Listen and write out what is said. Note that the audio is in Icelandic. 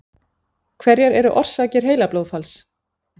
Hverjar eru orsakir heilablóðfalls?